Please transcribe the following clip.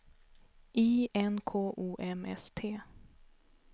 I N K O M S T